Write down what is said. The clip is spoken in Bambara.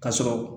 Ka sɔrɔ